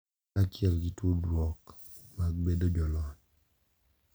Kaachiel gi tudruok mag bedo jolony.